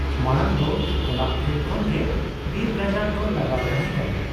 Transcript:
ᱢᱟᱬᱟᱝ ᱫᱚ ᱚᱟᱲᱟᱜ ᱯᱷᱮᱰ ᱠᱷᱚᱱ ᱜᱮ ᱵᱤᱨ ᱜᱟᱡᱟᱲ ᱫᱚ ᱞᱟᱜᱟᱣ ᱛᱟᱦᱮᱸ ᱠᱟᱱᱟ ᱾